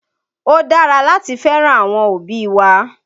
Ó dára láti fẹ́ràn àwọn òbí wa